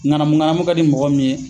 Ɲanamu ɲnamu ka di mɔgɔ min ye